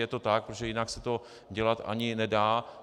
Je to tak, protože jinak se to dělat ani nedá.